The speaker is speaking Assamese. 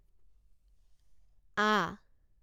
আ